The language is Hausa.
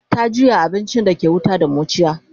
ta juya abincin da ke wuta da muciya